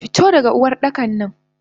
Fito daga Uwardakan!